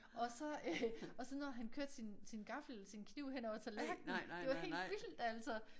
Og så øh og så når han kørte sin gaffel sin kniv hen over tallerkenen det var helt vildt altså